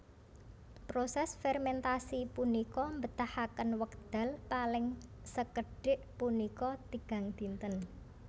Proses fermentasi punika mbetahaken wekdal paling sekedhik punika tigang dinten